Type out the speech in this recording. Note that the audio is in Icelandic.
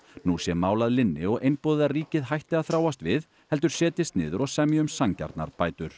nú sé mál að linni og einboðið að ríkið hætti að þráast við heldur setjist niður og semji um sanngjarnar bætur